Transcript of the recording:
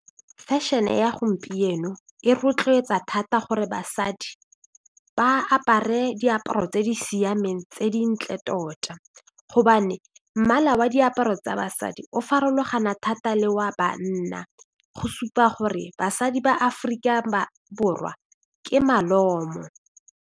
Fashion-e ya gompieno e rotloetsa thata gore basadi ba apare diaparo tse di siameng tse dintle tota gobane mmala wa diaparo tsa basadi o farologana thata le wa banna go supa gore basadi ba Aforika Borwa ke malomo.